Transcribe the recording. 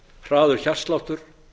hraður hjartsláttur